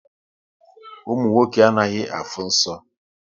Ụmụ nwoke anaghị afụ nsọ